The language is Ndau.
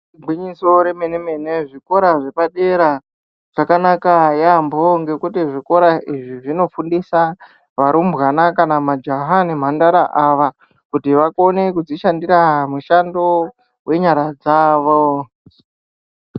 Igwinyiso remene-mene zvikora zvepadera zvakakanaka yaamho ngekuti zvikora izvi zvinofundisa varumbwana kana majaha nemhandara ava kuti vakone kudzishandira mushando wenyara dzavo.